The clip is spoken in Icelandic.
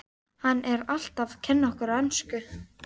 Hann er alltaf að kenna okkur ensku!